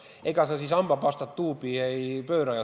Ega sa siis hambapastat tuubi tagasi ei suru.